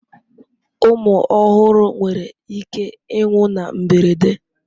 Ụmụ ọhụrụ nwere ike ịnwụ na mberede.